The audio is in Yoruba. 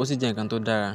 ó sì jẹ́ ǹkan tó dára.